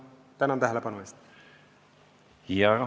Tänan tähelepanu eest!